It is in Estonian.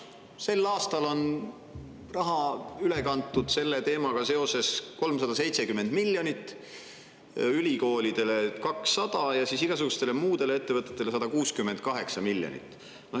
Sel aastal on selle teemaga seoses üle kantud 370 miljonit: ülikoolidele 200 miljonit ja siis igasugustele muudele ettevõtetele 168 miljonit.